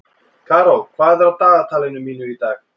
Karó, hvað er á dagatalinu mínu í dag?